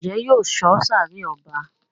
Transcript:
Njé yóò sọ sáré ọba?